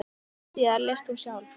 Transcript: Skömmu síðar lést hún sjálf.